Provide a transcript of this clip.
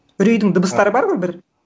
үрейдің дыбыстары бар ғой бір